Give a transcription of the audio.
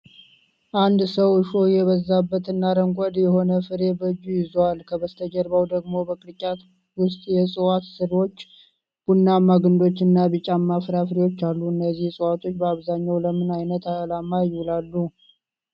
አንድ ሰው እሾህ የበዛበት እና አረንጓዴ የሆነ ፍሬ በእጁ ይዟል፤ ከበስተጀርባው ደግሞ በቅርጫት ውስጥ የዕፅዋት ሥሮች፣ ቡናማ ግንዶች እና ቢጫማ ፍራፍሬዎች አሉ። እነዚህ ዕፅዋት በአብዛኛው ለምን ዓይነት ዓላማ ይውላሉ?